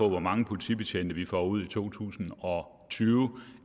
hvor mange politibetjente vi får ud i to tusind og tyve